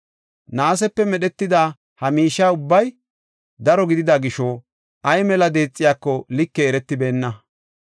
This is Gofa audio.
Naasepe medhetida ha miishe ubbay daro gidida gisho, ay mela deexiyako likey eretibeenna.